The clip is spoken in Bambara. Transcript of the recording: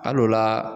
Al'o la